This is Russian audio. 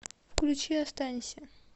включи останься